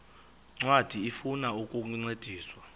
ncwadi ifuna ukukuncedisa